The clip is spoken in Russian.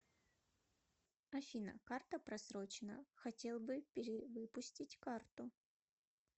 афина карта просроченна хотел бы перевыпустить карту